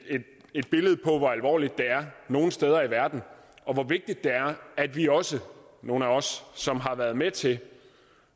et billede på hvor alvorligt det er nogle steder i verden og hvor vigtigt det er at vi også nogle af os som har været med til